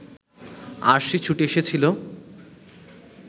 আরশি ছুটে এসেছিল